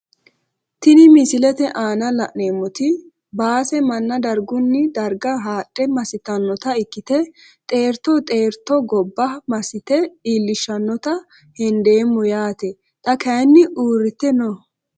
Tini misilete aana la`neemoti baase mana darguni darga haadhe masitanota ikite xeerto xeerto gobba masite iilishanota hendeemo yaate xa kayini uurite no.